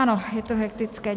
Ano, je to hektické.